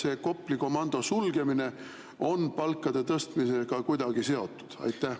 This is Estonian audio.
Ja kas Kopli komando sulgemine on palkade tõstmisega kuidagi seotud?